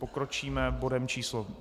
Pokročíme bodem číslo